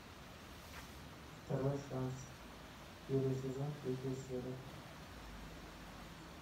второй шанс первый сезон третья серия